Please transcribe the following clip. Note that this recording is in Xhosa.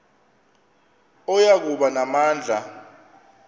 oya kuba namandla